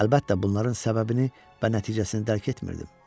Əlbəttə, bunların səbəbini və nəticəsini dərk etmirdim.